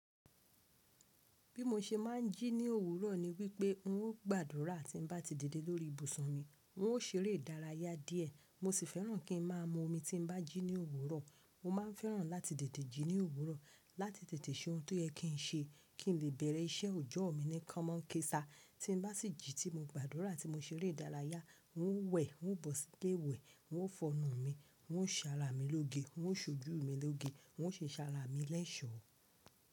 Bí mo ṣe máa ń jí ní òwúrọ̀ ni wípé n ó gbàdúrà tí n bá ti dide lórí ibùsùn mi. N ó ṣeré ìdárayá díẹ̀. Mo sì fẹ́ràn kí n máa mu omi tí n bá jí ní òwúrọ̀. Mo ma ń fẹ́ràn láti tètè jí ní òwúrọ̀, láti tètè ṣe ohun tó yẹ kí n ṣe, kí n lè bẹ̀rẹ̀ iṣẹ́ ọjọ́ mi ní kámọ́ń ké sá. Tí n bá sì jí tí mo gbàdúrà tí mo ṣeré ìdárayá, n ó wẹ̀, n ó bọ̀ sílé iwẹ̀, n ó fonu mi, n ó sàárà mi lóge, n ó ṣojú mi lóge, n ó ṣe sàárà mi lẹ́ṣọ̀.